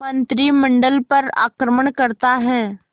मंत्रिमंडल पर आक्रमण करता है